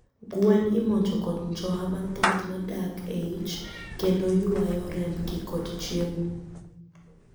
Gwen imonjo kod njoha mathoth madak e ich kendo ywayo rembgi kod chiemo